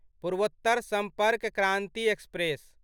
पूर्वोत्तर सम्पर्क क्रान्ति एक्सप्रेस